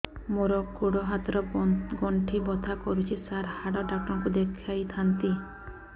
ମୋର ଗୋଡ ହାତ ର ଗଣ୍ଠି ବଥା କରୁଛି ସାର ହାଡ଼ ଡାକ୍ତର ଙ୍କୁ ଦେଖାଇ ଥାନ୍ତି